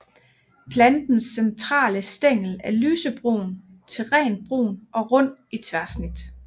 Plantens centrale stængel er lysebrun til rent brun og rund i tværsnit